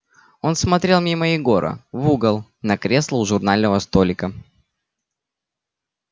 он смотрел мимо егора в угол на кресло у журнального столика